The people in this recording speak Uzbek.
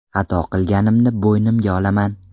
Xato qilganimni bo‘ynimga olaman.